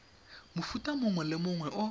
mofuta mongwe le mongwe o